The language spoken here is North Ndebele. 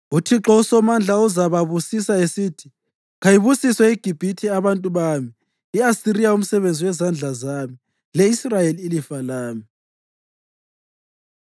UThixo uSomandla uzababusisa esithi, “Kayibusiswe iGibhithe abantu bami, i-Asiriya umsebenzi wezandla zami le-Israyeli ilifa lami.”